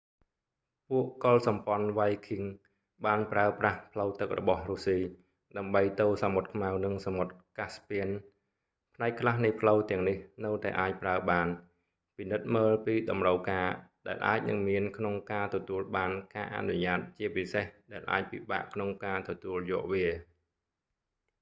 ពួកកុលសម្ព័ន្ធវ៉ៃឃីង vikings បានប្រើប្រាស់ផ្លូវទឹករបស់រុស្ស៊ីដើម្បីទៅសមុទ្រខ្មៅនិងសមុទ្រកាស់ស្ពាន caspian ផ្នែកខ្លះនៃផ្លូវទាំងនេះនៅតែអាចប្រើបាន ពិនិត្យមើលពីតម្រូវការដែលអាចនឹងមានក្នុងការទទួលបានការអនុញ្ញាតជាពិសេសដែលអាចពិបាកក្នុងការទទួលយកវា